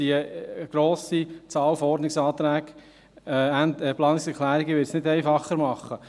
Die grosse Anzahl an Ordnungsanträgen, Planungserklärungen wird es nicht einfacher machen.